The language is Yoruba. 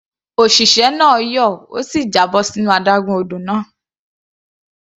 Òṣìṣẹ́ náà yọ̀, ó sì já bọ́ sínú adágún odò náà.